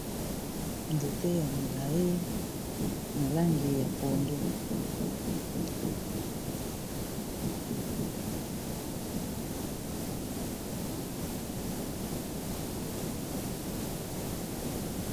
Nzete ya milayi na langi ya pondu.